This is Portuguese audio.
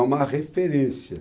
É uma referência.